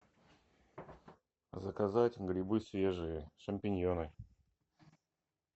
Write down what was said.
заказать грибы свежие шампиньоны